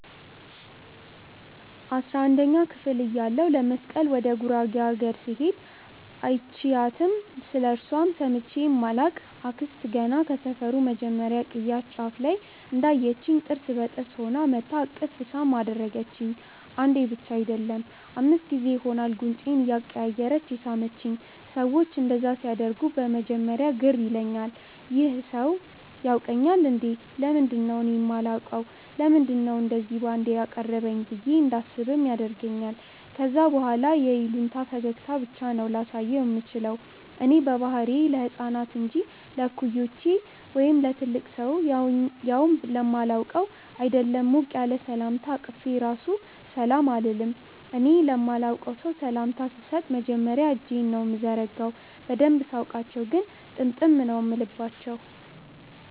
አስራንደኛ ክፍል እያለሁ ለመስቀል ወደ ጉራጌ አገር ስሄድ÷ አይችያትም ስለእርሷም ሰምቼ ማላቅ አክስት ገና ከሰፈሩ መጀመርያ ቅያስ ጫፍ ላይ እንዳየቺኝ ጥርስ በጥርስ ሆና መጥታ እቅፍ ሳም አደረገቺኝ። አንዴ ብቻ አይደለም÷ አምስት ጊዜ ይሆናል ጉንጬን እያቀያየረች የሳመቺኝ። ሰዎች እንደዛ ሲያደርጉ በመጀመርያ ግር ይለኛል- "ይህ ሰው ያውቀኛል እንዴ? ለምንድነው እኔ ማላውቀው? ለምንድነው እንደዚ ባንዴ ያቀረበኝ?" ብዬ እንዳስብም ያደርገኛል ከዛ በኋላ የይሉኝታ ፈገግታ ብቻ ነው ላሳየው ምችለው። እኔ በባህሪዬ ለህፃናት እንጂ ለእኩዮቼ ወይም ለትልቅ ሰው ያውም ለማላውቀው ÷ አይደለም ሞቅ ያለ ሰላምታ አቅፌ ራሱ ሰላም አልልም። እኔ ለማላቀው ሰው ሰላምታ ስሰጥ መጀመርያ እጄን ነው ምዘረጋው። በደንብ ሳውቃቸው ግን ጥምጥም ነው ምልባቸው።